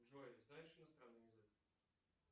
джой знаешь иностранный язык